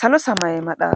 salo samay madha.